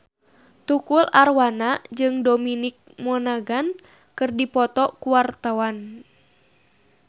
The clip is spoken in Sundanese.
Tukul Arwana jeung Dominic Monaghan keur dipoto ku wartawan